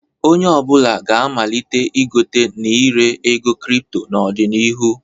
Onye ọ bụla ga-amalite igote na ire ego kripto n'ọdịnihu.